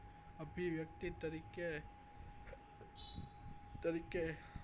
અભિવ્યક્તિ તરીકે તરીકે